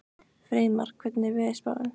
Freymar, hvernig er veðurspáin?